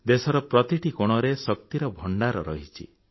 ଦେଶର ପ୍ରତିଟି କୋଣରେ ଶକ୍ତିର ଭଣ୍ଡାର ରହିଛି